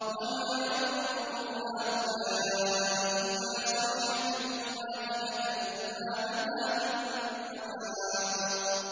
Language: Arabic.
وَمَا يَنظُرُ هَٰؤُلَاءِ إِلَّا صَيْحَةً وَاحِدَةً مَّا لَهَا مِن فَوَاقٍ